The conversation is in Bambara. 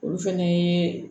Olu fɛnɛ ye